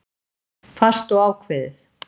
Fast og ákveðið.